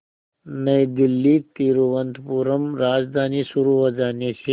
नई दिल्ली तिरुवनंतपुरम राजधानी शुरू हो जाने से